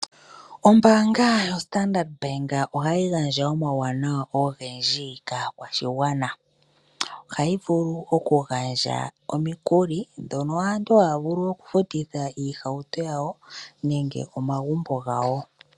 Ombaanga yoStandard bank ohayi gandja omauwanawa ogendji kaakwashigwana. Ohayi vulu okugandja omikuli ndhono aantu haya vulu okufutitha iihauto yawo nenge omagumbo gawo.